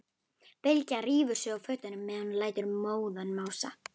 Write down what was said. Bylgja rífur sig úr fötunum meðan hún lætur móðan mása.